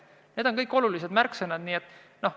Need on olulised märksõnad.